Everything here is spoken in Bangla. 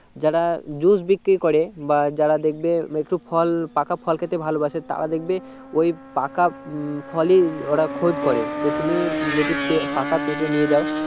যারা জুস বিক্রি করে বা যারা দেখবে একটু ফল পাকা ফল খেতে ভালো বাসে তারা দেখবে ওই পাকা উম ফলই ওরা খোঁজ করে তো তুমি যদি পাকা পেঁপে নিয়ে যাও